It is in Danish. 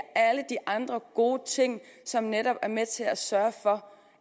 alle de andre gode ting som netop er med til at sørge for